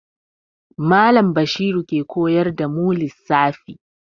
Mallam Bashiru ke koyar da mu lissafi.